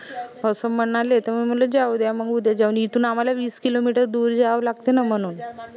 अस म्हनाले त म म्हनलं जाऊ द्या मंग उद्या जाऊन इथून आम्हाला वीस किलो मीटर दूर जावं लागते न म्हनून